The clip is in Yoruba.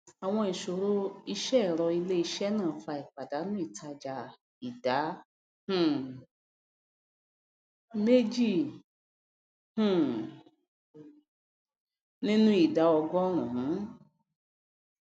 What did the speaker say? àwọn ìsòro iṣẹẹrọ iléiṣé náà fà ìpàdánù ìtàjà ìdá um méjì um nínú ìdá ọgọrùnún lún